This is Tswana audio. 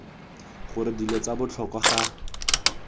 gore dilo tsa botlhokwa ga